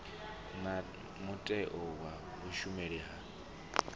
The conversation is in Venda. na mutheo wa vhushumeli ha